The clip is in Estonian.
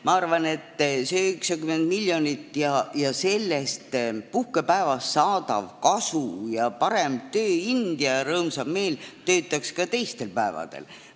Ma arvan selle 90 miljoni kohta, et sellest puhkepäevast saadav kasu, parem tööind ja rõõmsam meel töötaks ka teistel päevadel.